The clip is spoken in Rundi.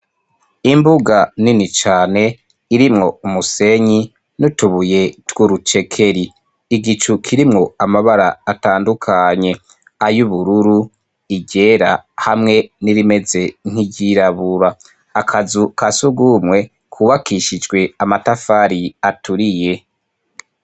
Imbuga nini cane irimwo umusenyi n'utubuye tw'urucekeri. Igicu kirimwo amabara atandukanye: ay'ubururu, iryera hamwe n'irimeze nk'iryirabura. Akazu ka surwumwe kubakishijwe amatafari aturiye.